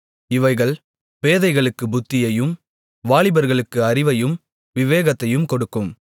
இவைகள் பேதைகளுக்கு புத்தியையும் வாலிபர்களுக்கு அறிவையும் விவேகத்தையும் கொடுக்கும்